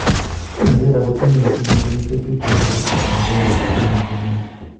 Nigeria ko timit netinye kenyisiek tuten kabisa en kikombet ab ngwny kenyinii